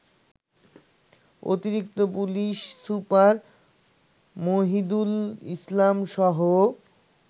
অতিরিক্ত police super Mohidul ইসলামসহ